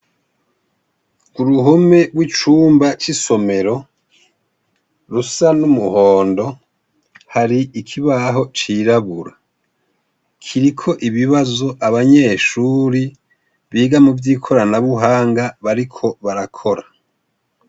Kuruhome rwicumba cisomero rusa numuhondo hari ikibaho cirabura kiriko ibibazo abanyeshuri biga muvyikorana buhanga bariko barakora